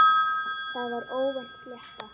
Það var óvænt flétta.